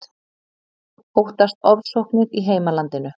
Óttast ofsóknir í heimalandinu